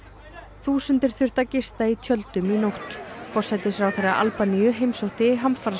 þúsundir þurftu að gista í tjöldum í nótt forsætisráðherra Albaníu heimsótti